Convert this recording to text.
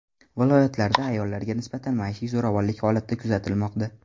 Viloyatlarda ayollarga nisbatan maishiy zo‘ravonlik holati kuzatilmoqda.